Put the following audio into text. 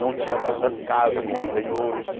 Não tinha tantas casas como tem hoje.